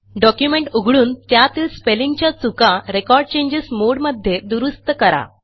document उघडून त्यातील स्पेलिंगच्या चुका रेकॉर्ड चेंजेस मोडे मध्ये दुरूस्त करा